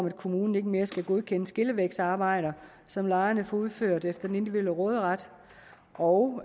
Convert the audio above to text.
at kommunen ikke mere skal godkende skillevægsarbejder som lejerne får udført efter den individuelle råderet og